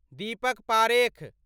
Deepak Parekh